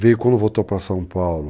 Veio, quando voltou para São Paulo,